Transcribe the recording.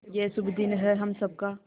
ये शुभ दिन है हम सब का